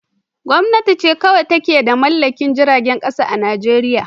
Gwamnati ce kawai ta mallaki jiragen kasa a Najeriya